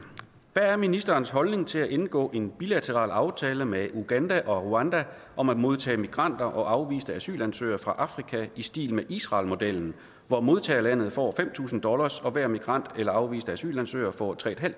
hvad er ministerens holdning til at indgå en bilateral aftale med uganda og rwanda om at modtage migranter og afviste asylansøgere fra afrika i stil med israelmodellen hvor modtagerlandet får fem tusind dollars og hver migrant eller afviste asylansøger får tre